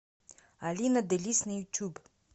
алина делисс на ютуб